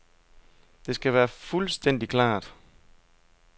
Det skal være fuldstændig klart.